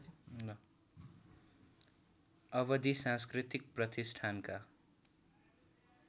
अवधि सांस्कृतिक प्रतिष्ठानका